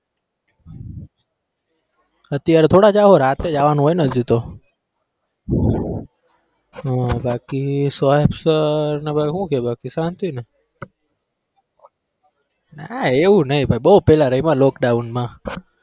અત્યારે થોડા જાહુ રાતે જાવાનું હોય ને હજી તો હમ બાકી ને બાકી હું કહે બાકી શાંતિને નાં એવું નઈ ભાઈ બહુ પેલા રમ્યા lockdown મા